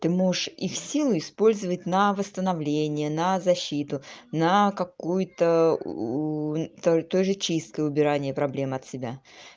ты можешь их силы использовать на восстановление на защиту на какую-то то тоже чисткой убирания проблем от себя